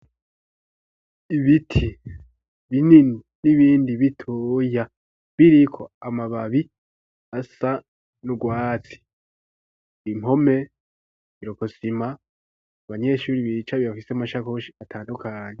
Ibiti binini n'ibindi bitoya biriko amababi asa n'urwatsi, impome ikirokosima abanyeshuri bicaye bafise amasakoshi atandukanye.